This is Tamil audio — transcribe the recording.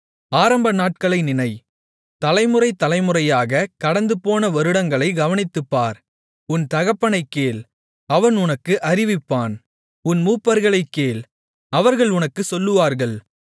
ஆரம்பநாட்களை நினை தலைமுறை தலைமுறையாக கடந்துபோன வருடங்களைக் கவனித்துப்பார் உன் தகப்பனைக் கேள் அவன் உனக்கு அறிவிப்பான் உன் மூப்பர்களைக் கேள் அவர்கள் உனக்குச் சொல்லுவார்கள்